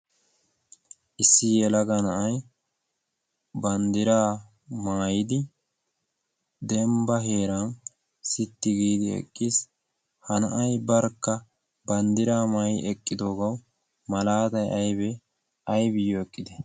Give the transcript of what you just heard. Issi yelaga na'aay banddira maayidi dembba heeran sitti giidi eqqiis. Ha na'aay barkka banddira maayi eqqidoogawu malaaday aybee aybiyyo eqqide?